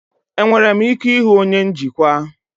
Enwere m ike ịhụ onye njikwa?